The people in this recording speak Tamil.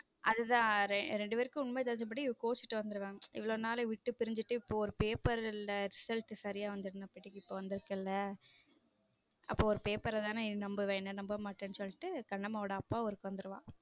அதுதான் ரெண்டு பேருக்கும் உண்மை தெரிஞ்ச படி இவ கோச்சுட்டு வந்துடுவா இவ்வளவு நாள் விட்டு பிரிஞ்சு இருந்துட்டு இப்ப ஒரு paper ல result சரியா வந்திருக்கு வந்து இருக்குல்ல அப்போ ஒரு paper தானே நம்புவேன் என்ன நம்ப மாட்டேன்னு சொல்லிட்டு கண்ணம்மா ஓட அப்பா ஊருக்கு வந்துருவா.